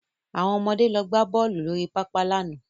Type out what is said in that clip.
Àwọn ọmọde lọ gbá bọ́ọ̀lù lórí pápá lánàá